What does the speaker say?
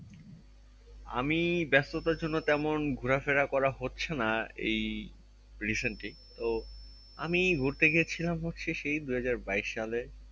আমি ব্যাস্ততার জন্য তেমন ঘোড়া ফেরা করা হচ্ছে না এই recent ই তো আমি ঘুরতে গেছিলাম হচ্ছে সেই দুই হাজার বাইশ সালে